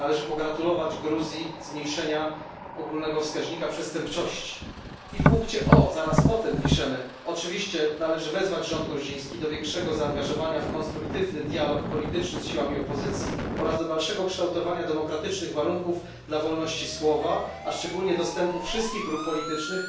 należy pogratulować Gruzji zmniejszenia ogólnego wskaźnika przestępczości i w punkcie O preambuły zaraz po tym piszemy oczywiście należy wezwać rząd gruziński do większego zaangażowania w konstruktywny dialog polityczny z siłami opozycji oraz do dalszego kształtowania demokratycznych warunków dla wolności słowa, a szczególnie dostępu wszystkich grup politycznych